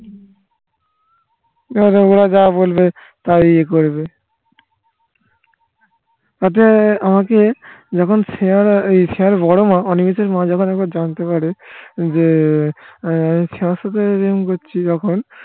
ওরা যা বলবে তাই করবে তা তুমি আমাকে যখন শ্রেশ্রেয়ার বড়ো মা অনিমেষের মা যখন একবার জানতে পারে যে আমি শ্রেয়ার সাথে এরকম করছি যখন